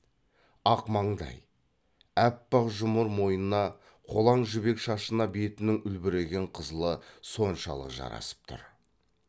ақ маңдай аппақ жұмыр мойнына қолаң жібек шашына бетінің үлбіреген қызылы соншалық жарасып тұр